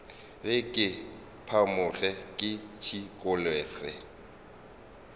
re ke phamoge ke šikologe